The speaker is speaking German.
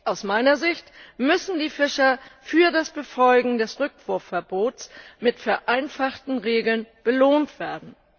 Aus meiner Sicht müssen die Fischer für das Befolgen des Rückwurfverbots mit vereinfachten Regeln belohnt werden.